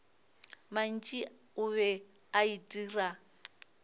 mantši o be a itira